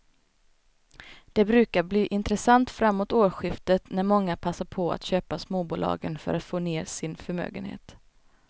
De brukar bli intressanta framåt årsskiftet när många passar på att köpa småbolagen för att få ner sin förmögenhet.